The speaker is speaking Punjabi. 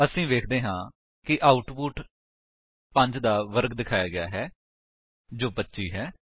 ਅਸੀ ਵੇਖਦੇ ਹਾਂ ਕਿ ਆਉਟਪੁਟ 5 ਦਾ ਵਰਗ ਦਿਖਾਇਆ ਗਿਆ ਹੈ ਜੋ 25 ਹੈ